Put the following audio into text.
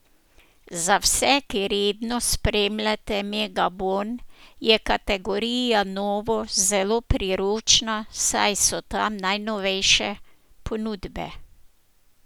Za vse, ki redno spremljate Megabon je kategorija novo zelo priročna, saj so tam najnovejše ponudbe.